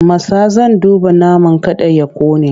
Matsa! Zan duba naman man kada ya ƙone!